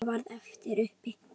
Enginn ormur skal breyta því.